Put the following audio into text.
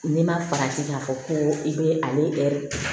N'i ma faransi k'a fɔ ko i bɛ ale